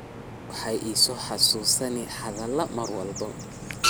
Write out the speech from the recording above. Xoyodha waxay iisoxasusina hadhaladha marwalbo.